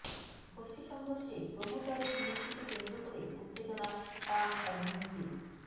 গোষ্ঠী সংঘর্ষে প্রোমোটারের মৃত্যুকে কেন্দ্র করে উত্তেজনা পাম অ্যাভিনিউতে